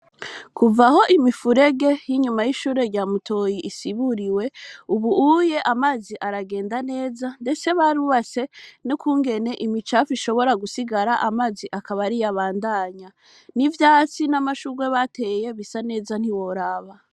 Kuva aho imifurege y'inyuma y'ishure rya Mutoyi risiburiwe, ubu amazi aragenda neza, ndetse barubatse n'ukungene imicafu ishobora gusigara amazi akaba ariyo abandanya, n'ivyatsi n'amashugwe bateye bisa neza ntiworaba.